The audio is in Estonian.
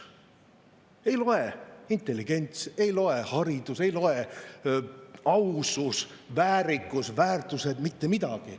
Ei loe intelligents, ei loe haridus, ei loe ausus, väärikus, väärtused, mitte midagi.